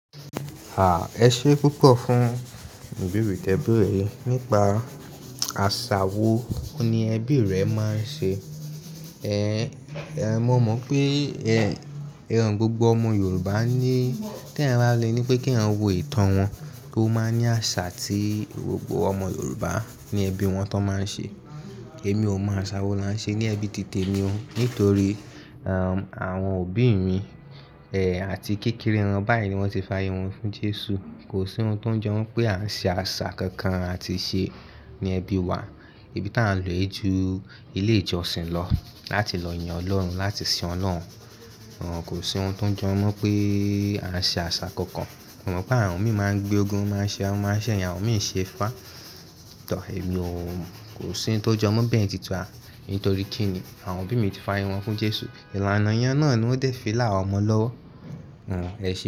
A, ẹ ṣé púpọ̀ fún ìbèrí tẹ̀bẹ̀rí nípa àṣà wo ni ẹbí rẹ máa ń ṣe. E, e, mo mọ̀ pé e, ẹran gbogbo ọmọ Yorùbá ní, tí ẹ̀ n rá le ní pé kí wọ́n wo ìtàn wọn, kó máa ní àṣà tí gbogbo ọmọ Yorùbá ní ẹbí wọn tó máa ń ṣe. Èmi ò mọ àṣà wo la ń ṣe ní ẹbí títè mi o, nítorí e, àwọn òbí mi, e, àti kékeré wọn báyìí ni wọ́n ti fa irun fún Jésù. Kò sí ohun tó jọ wọ́n pé à ń ṣe àṣà kankan a ti ṣe ní ẹbí wa. Ibí tí à ń lò ojú ilé ìjọsìn lọ láti lọ yàn Ọlọ́run, láti sìn Ọlọ́run. Rárùn, kò sí ohun tó jọ wọ́n pé à ń ṣe àṣà kankan. Mo mọ̀ pé àwọn mi máa ń gbé ogún, wọ́n máa ń ṣe ẹran, wọ́n máa ń ṣe ẹyin, àwọn mi ò ṣe ifá. Tọ́, èmi ò, kò sí ohun tó jọ wọ́n bẹ́ẹ̀ títun à. Nítorí kín ni àwọn òbí mi ti fa ayewonfún Jésù. Ìlànà ìyàn náà ni ó dẹ̀ fi là ọmọ lọ́wọ́. Rárùn, ẹ ṣé.